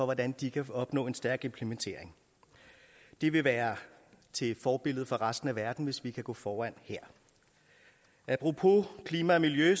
hvordan de kan opnå en stærk implementering det vil være et forbillede for resten af verden hvis vi kan gå foran her apropos klima og miljø